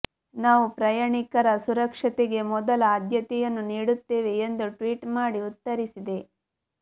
ನಾವು ಪ್ರಯಾಣಿಕರ ಸುರಕ್ಷತೆಗೆ ಮೊದಲ ಅದ್ಯತೆಯನ್ನು ನೀಡುತ್ತೇವೆ ಎಂದು ಟ್ವೀಟ್ ಮಾಡಿ ಉತ್ತರಿಸಿದೆ